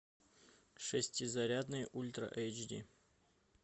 шестизарядный ультра эйч ди